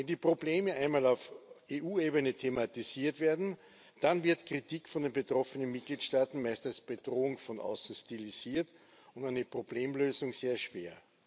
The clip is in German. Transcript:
Wenn die Probleme einmal auf EU Ebene thematisiert werden, dann wird Kritik von den betroffenen Mitgliedstaaten meist als Bedrohung von außen stilisiert und eine Problemlösung sehr schwer.